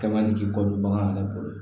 Kɛ man di k'i kɔ don bagan yɛrɛ bolo